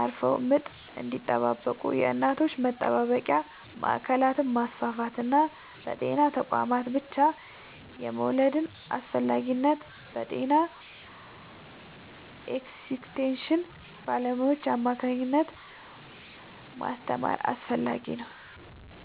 አርፈው ምጥ እንዲጠባበቁ የእናቶች መጠባበቂያ ማዕከላትን ማስፋፋትና በጤና ተቋማት ብቻ የመውለድን አስፈላጊነት በጤና ኤክስቴንሽን ባለሙያዎች አማካኝነት ማስተማር ያስፈልጋል።